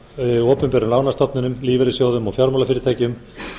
hjá opinberum lánastofnunum lífeyrissjóðum og fjármálafyrirtækjum